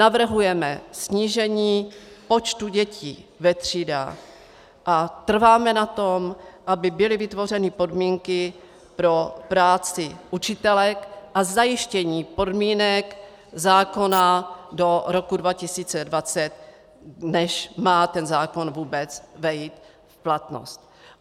Navrhujeme snížení počtu dětí ve třídách a trváme na tom, aby byly vytvořeny podmínky pro práci učitelek a zajištění podmínek zákona do roku 2020, než má ten zákon vůbec vejít v platnost.